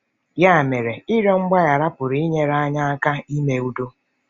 Ya mere, ịrịọ mgbaghara pụrụ inyere anyị aka ime udo.